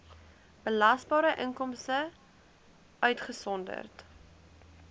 belasbare inkomste uitgesonderd